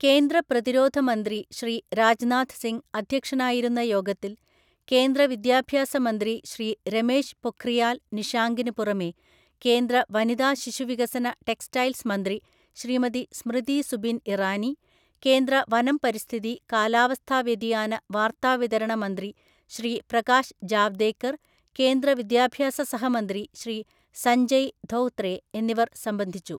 കേന്ദ്ര പ്രതിരോധ മന്ത്രി ശ്രീ രാജ്നാഥ്സിംഗ് അദ്ധ്യക്ഷനായിരുന്ന യോഗത്തില്‍ കേന്ദ്ര വിദ്യാഭ്യാസ മന്ത്രി ശ്രീ രമേശ് പൊഖ്രിയാല്‍ നിഷാങ്കിന് പുറമെ കേന്ദ്ര വനിതാ ശിശുവികസന ടെക്സ്റ്റൈൽസ് മന്ത്രി ശ്രീമതി സ്മൃതി ഇറാനി, കേന്ദ്ര വനം പരിസ്ഥിതി, കാലാവസ്ഥാ വ്യതിയാന, വാർത്താവിതരണ മന്ത്രി ശ്രീ പ്രകാശ് ജാവ്ദേക്കര്‍ കേന്ദ്ര വിദ്യാഭ്യാസ സഹമന്ത്രി ശ്രീ സജ്ഞയ് ധോത്രേ എന്നിവര്‍ സംബന്ധിച്ചു.